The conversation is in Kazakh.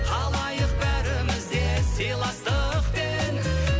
қалайық бәріміз де сыйластықпен